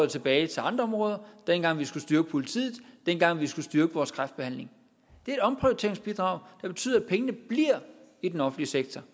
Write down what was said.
tilbage til andre områder dengang vi skulle styrke politiet dengang vi skulle styrke vores kræftbehandling det er et omprioriteringsbidrag der betyder at pengene bliver i den offentlige sektor